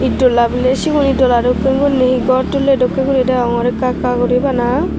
itdola biley sigun dola dokken guri hee gor tulley dokkey guri degongor ekka ekka guri bana.